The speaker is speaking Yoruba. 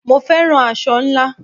Mo féràn aṣọ ńlá.